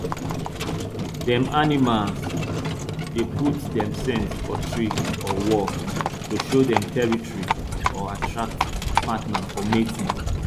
dem animals dey put dem scent for tree or wall to show dem territory or attract partner for mating